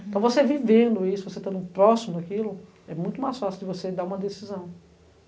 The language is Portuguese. Então, você vivendo isso, você estando próximo daquilo, é muito mais fácil de você dar uma decisão.